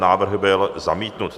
Návrh byl zamítnut.